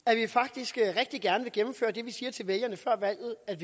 at vi faktisk rigtig gerne vil gennemføre det vi siger til vælgerne før valget at